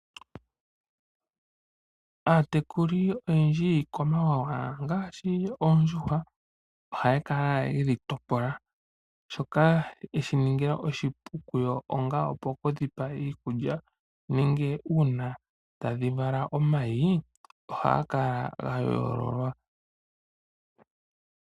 Aatekulu oyendji yiikwamawawa, ngaashi Oondjuhwa oha ya kala yedhi topola. Shoka ye shi ningila oshipu kuyo ongaa okudhi pa iikulya nenge uuna tadhi vala omayi, oha ga kala ga yoololwa.